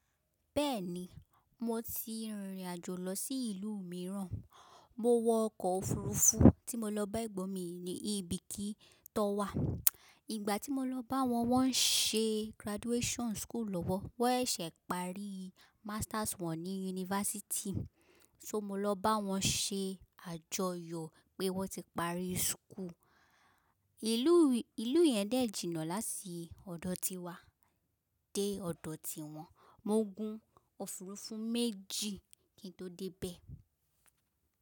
Bẹ́ẹ̀ni, mo ti rìnrìn àjò lọ sí ìlú mìíràn. Mo wọ ọkọ̀ òfuurufú tí mo lọ bá ẹ̀gbọ́n mi ní Ibikí tó wà. Ìgbà tí mo lọ bá wọn, wọ́n ń ṣe graduation school lọ́wọ́. Wọ́n ṣẹ̀ pari masters wọn ní University. So mo lọ bá wọn ṣe àjọyọ̀ pé wọ́n ti pari school. Ìlú yẹn dẹ̀ jìnnà láti ọ̀dọ̀ tiwa dé ọ̀dọ̀ tí wọ́n. Mo gun òfuurufú méjì kí n tó dé bẹ́ẹ̀.